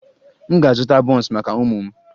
M ga-azụta buns maka ụmụ m